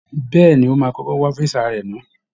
Bẹ́ẹ̀ ni, ó máa kọ́kọ́ wá físà rẹ̀ ná